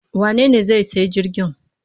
Wanene zai sayi jirgin?